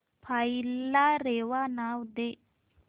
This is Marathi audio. फाईल ला रेवा नाव दे